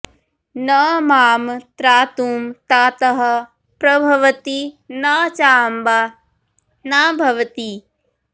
न मां त्रातुं तातः प्रभवति न चाम्बा न भवती